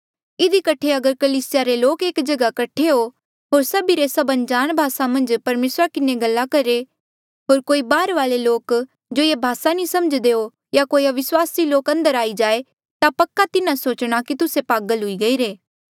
इधी कठे अगर कलीसिया रे लोक एक जगहा कठे हो होर सभिरे सभ अनजाण भासा मन्झ परमेसरा किन्हें गल करहे होर कोई बाहरवाले लोक जो ये भासा नी समझ्दे हो या कोई अविस्वासी लोक अंदर आई जाए ता पक्का तिन्हा सोचणा कि तुस्से पागल हुई गईरे